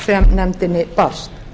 nefndinni barst